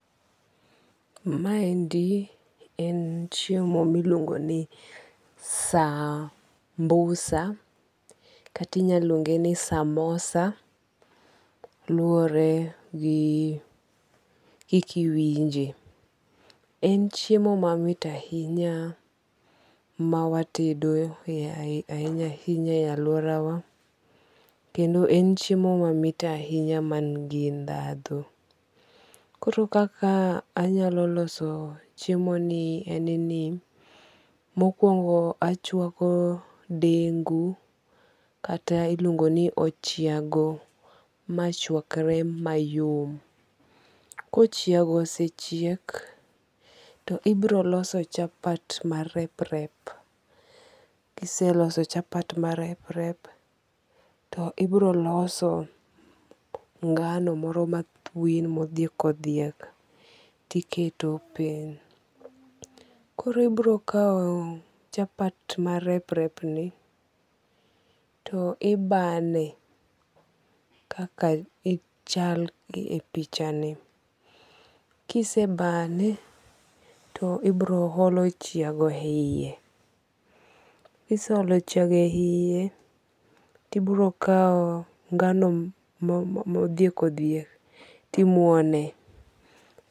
Ma endi en chiemo miluongo ni sambusa katinyaluonge ni samosa. Luore gi kiki iwinje. En chiemo mamit ahinya ma watedo e ahinya ahinya e aluora wa. Kendo en chiemo mamit ahinya man gi ndhandhu. Koro kaka anyalo loso chiemo ni en ni mokwongo achwako dengu kata iluongo ni ochiago machwakre mayom. Kochiago osechiek, to ibiro loso chapat marep rep. Kiseloso chapat marep rep, to ibiro loso ngano moro mathwin modhiek odhiek tiketo piny. Koro ibiro kaw chapat marep rep ni to ibane kaka chal e pichani. Kise bane to ibiro olo ochiago e yie. Kise olo ochiago e yie tibiro kaw ngano modhiek odhiek timuone.